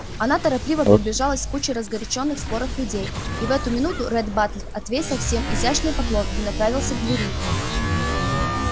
она торопливо приближалась к кучке разгорячённых спором людей и в эту минуту ретт батлер отвесил всем изящный поклон и направился к двери